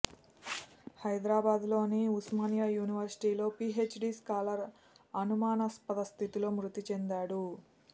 హైదరాబాద్లోని ఉస్మానియా యూనివర్సిటీలో PhD scholar అనుమానాస్పద స్థితిలో మృతి చెందాడు